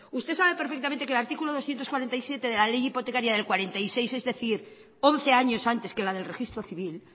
usted sabe perfectamente que el artículo doscientos cuarenta y siete de la ley hipotecaria de mil novecientos cuarenta y seis es decir once años antes que la del registro civil